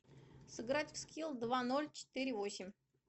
сыграть в скилл два ноль четыре восемь